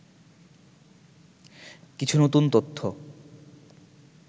কিছু নতুন তথ্য